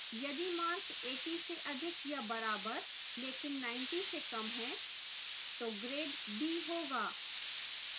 यदि mark 80 से अधिक या बराबर लेकिन 90 से कम हैं तो grade b होगा